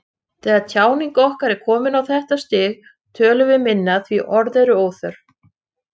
Þegar tjáning okkar er komin á þetta stig tölum við minna því orð eru óþörf.